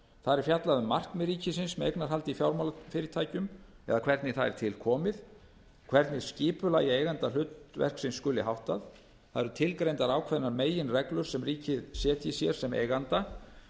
það er fjallað um markmið ríkisins með eignarhaldi í fjármálafyrirtækjum eða hvernig það er til komið hvernig skipulagi eigendahlutverksins skuli háttað það eru tilgreindar ákveðnar meginreglur sem ríkið setji sér sem eiganda